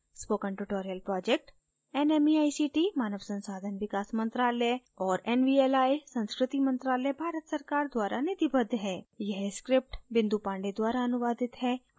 spoken tutorial projectnmeict मानव संसाधन विकास मंत्रायल और nvli संस्कृति मंत्रालय भारत सरकार द्वारा निधिबद्ध है